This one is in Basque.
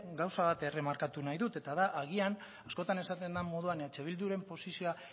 gauza bat erremarkatu nahi dut eta da agian askotan esaten den moduan eh bilduren posizioa